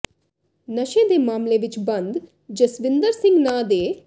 ਨਸ਼ੇ ਦੇ ਮਾਮਲੇ ਵਿੱਚ ਬੰਦ ਜਸਵਿੰਦਰ ਸਿੰਘ ਨਾਂ ਦੇ